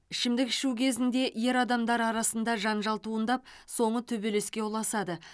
ішімдік ішу кезінде ер адамдар арасында жанжал туындап соңы төбелеске ұласады